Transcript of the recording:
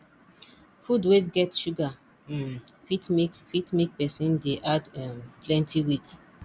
food wey get sugar um fit make fit make person dey add um plenty weight